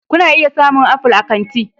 Kuna iya samun apple a kan titi